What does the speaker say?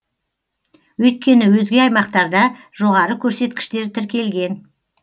өйткені өзге аймақтарда жоғары көрсеткіштер тіркелген